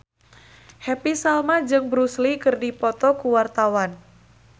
Happy Salma jeung Bruce Lee keur dipoto ku wartawan